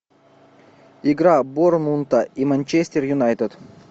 игра борнмута и манчестер юнайтед